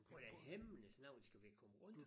Hvordan himlens navn skal vi komme rundt?